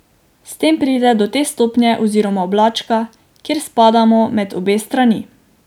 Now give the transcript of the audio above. S tem pride do te stopnje oziroma oblačka, kjer spadamo med obe strani.